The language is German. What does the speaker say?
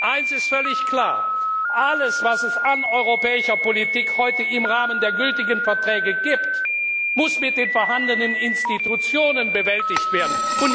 Eines ist völlig klar Alles, was es an europäischer Politik heute im Rahmen der gültigen Verträge gibt, muss mit den vorhandenen Institutionen bewältigt werden.